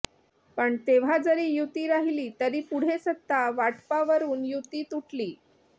पण तेव्हा जरी युती राहिली तरी पुढे सत्ता वाटपावरून युती तुटली